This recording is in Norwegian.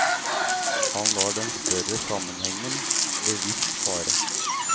Han lar den større sammenhengen bevisst fare.